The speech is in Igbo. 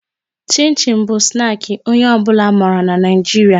Chin chin bụ snaki onye ọ bụla mara n'Naijiria